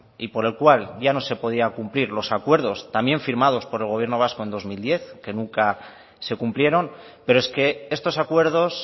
y por el cual ya no se podían cumplir los acuerdos también firmados por el gobierno vasco en dos mil diez que nunca se cumplieron pero es que estos acuerdos